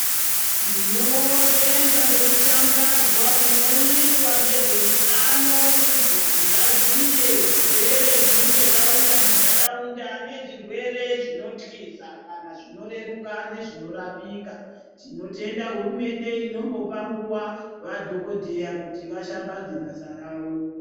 Tinotenda ngekushambadzwa kunoita ngezveutano kuti vantu vaziye zvirwere zvinenge zvauya muntaraunda nezvirwere zvinotyisa kana zvinoreruka nezvinorapika tinotenda hurumende inombopa nguva vadhokodheya kuti vashambadze basa ravo.